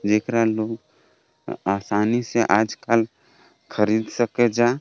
जेकरा लोग आसानी से आज काल खरीद सके जा।